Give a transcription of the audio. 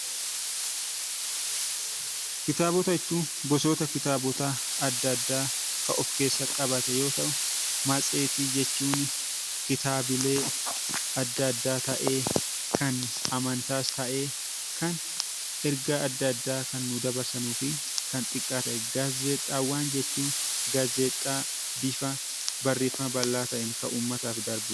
Kitaabota jechuun gosoota kitaabota adda addaa kan of keessa qabate yoo ta'u, matseetii jechuuni kitaabilee adda addaa ta'ee kan amantaas ta'e kan ergaa adda addaa kan nuu dabarsanuu fi kan xiqqaa ta'edha. Gaazexaawwan jechuun gaazexaa bifa barreeffama bal'aa ta'een kan uummataaf darbuudha.